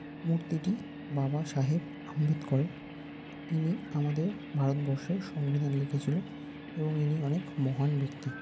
মুর্তি টি বাবা সাহেব আম্বেদকরের। ইনি আমাদের ভারতবর্ষের সংবিধান লিখেছিেল এবং ইনি অনেক মহান ব্যক্তি।